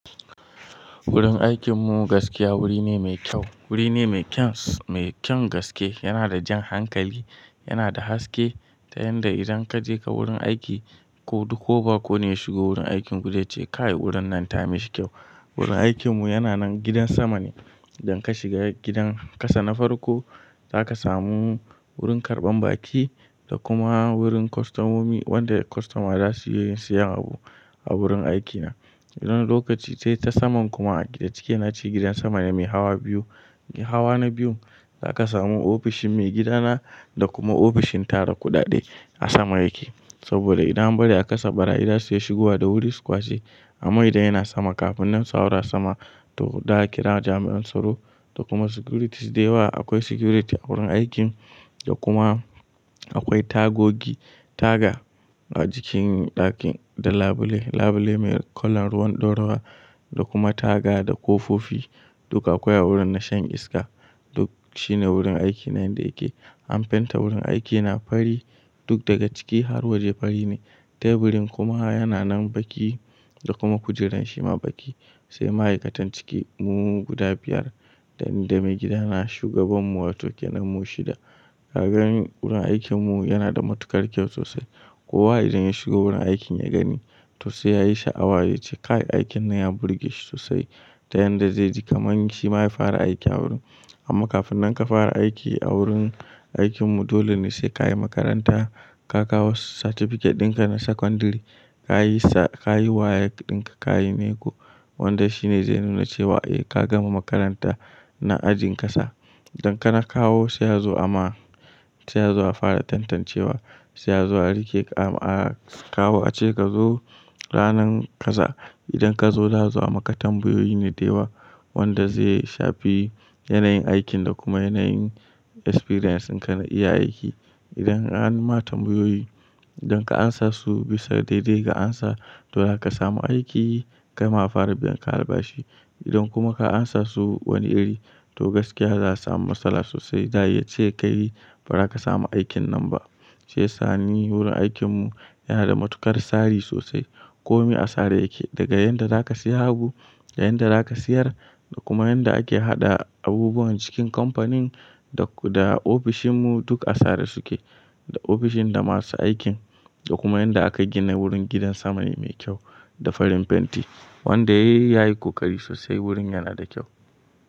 Wurin aikin mu gaskiya wuri ne mai kyau. Wuri ne mai kyan, mai kyan gaske. Yana da jan hankali, yana da haske ta yanda idan kaje ka wurin aiki ko duk ko ba ko ne ya shigo wurin aikin ku zaice, kaibwurin nan ta mi shi kyau. Wurin aikin mu yana nan gidan sama ne. Idan ka shiga gidan kasa na farko, za ka samu wurin karban baki da kuma wurin kostomomi wanda kostoma za su iya siyan abu a wurin aiki na. Wani lokaci sai ta saman kuma a cike nace gidan sama ne mai hawa biyu. Hawa na biyun, za ka samu ofishin maigidana da kuma ofishin tara kuɗaɗe a sama yake. Saboda idan an bari a kasa barayi zasu iya shigowa da wuri su kwace. Amma ifan yana sama, kafin nan su haura sama to za a kira jami'an tsaro da kuma security dayawa. Akwai security a wurin aikin da kuma akwai tagogi, taga a jikin ɗakin da labule, labule mai kalon ruwan ɗorawa da kuma taga da kofofi. Duk akwai a wurin na shan iska. Duk shine wurin aiki na yanda yake. An fenta wurin aikina fari duk daga ciki har waje fari ne. Taburin kuma yana nan baki da kuma kujeran shi ma baki. Sai ma'aikatan ciki mu guda biyar, dani da maigidana shugaban mu wato kenan mu shida. Ka gani wurin aikin mu yana da matukar kyau sosai. Kowa idan ya shigo wurin aikin ya gani to sai ya yi sha'awa ya ce "kai aikin nan ya burge shi sosai". Ta yanda ze ji kamar shi ma ya fara aiki a wurin. Amma kafin nan ka fara aiki a wurin aikin mu, dole ne sai ka yi makaranta, ka kawo certificate din ka na secondary, ka yi sa, ka yi WAEC din ka, ka yi NECO. Wanda shi ne zai nuna cewa eh ka gama makaranta na ajin kasa. Idan kana kawo sai azo ama sai azo a fara tantancewa, sai azo a rike a, a kawo a ce ka zo ranan kaza. Idan kazo za'azo amaka tambayoyi ne dayawa wanda zai sha finyanayin aikin da kuma yanayin experience din ka na iya aiki. Idan an ma tambayoyi, idan ka amsa su bisa daidai ka amsa to za ka samu aiki, kai ma ka fara biya alba shi. Idan kuma ka amsa su wani iri to gaskiya za'a samu matsala sosai. Za a ce ka yi ba za ka samu aikin nan ba. Shiyasa ni wurin aikin mu yana da matukar tsari sosai. Komi a tsare yake daga yanda za ka siya abu, da yanda za ka siyar da kuma yanda ake haɗa abubuwan cikin kamfanin da, da ofishin mu duk a tsare su ke. Da ofishin da masu aikin da kuma yanda aka gina wurin gidan sama ne mai kyau da farin fenti wanda yayi ya yi kokari sosai wurin yana da kyau.